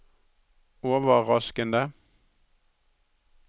overraskende